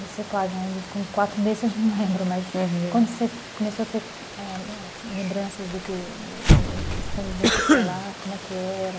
Você, claro, com quatro meses a gente não lembra, mas quando você começou a ter lembranças dessa convivência escolar, como é que era?